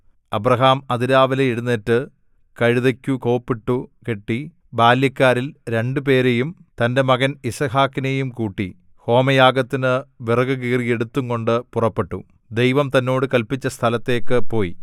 Abraham അതിരാവിലെ എഴുന്നേറ്റ് കഴുതയ്ക്കു കോപ്പിട്ടു കെട്ടി ബാല്യക്കാരിൽ രണ്ടുപേരെയും തന്റെ മകൻ യിസ്ഹാക്കിനെയും കൂട്ടി ഹോമയാഗത്തിനു വിറകു കീറി എടുത്തുംകൊണ്ട് പുറപ്പെട്ടു ദൈവം തന്നോട് കല്പിച്ച സ്ഥലത്തേക്ക് പോയി